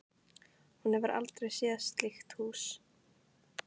Hún hefur aldrei séð slíkt hús.